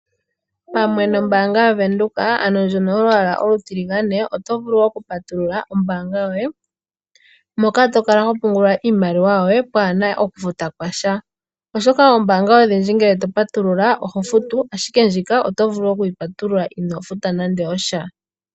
Pamwe nombaanga yaVenduka, ano ndjoka yolwaala olutiligane, oto vulu okupatulula omayalulilo gombaanga yoye moka to kala ho pungula iimaliwa yoye pwaa na okufuta kwa sha. Oshoka oombaanga odhindji ngele to patulula oho futu, ashike ndjika oto vulu okuyi patulula inoo futa nando osha.